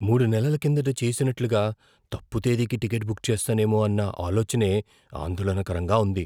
మూడు నెలల కిందట చేసినట్లుగా తప్పు తేదీకి టికెట్ బుక్ చేస్తానేమో అన్న ఆలోచనే ఆందోళనకరంగా ఉంది.